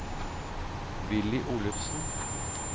Villy Olufsen